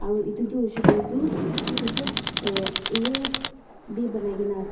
aro edu tu hoishey koilae tu exact road tae banaikaena ase.